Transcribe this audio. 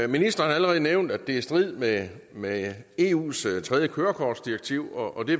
ministeren har allerede nævnt at det er i strid med med eus tredje kørekortdirektiv og det